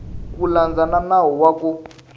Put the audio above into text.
ku landza nawu wa ku